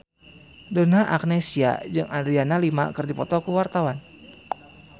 Donna Agnesia jeung Adriana Lima keur dipoto ku wartawan